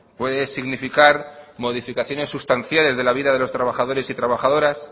puede significar modificaciones sustanciales de la vida de los trabajadores y trabajadoras